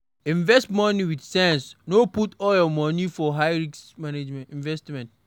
Invest money with sense, no put all your money for high risk investment